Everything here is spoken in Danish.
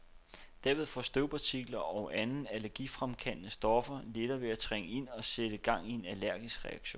Derved får støvpartikler og andre allergifremkaldende stoffer lettere ved at trænge ind og sætte gang i en allergisk reaktion.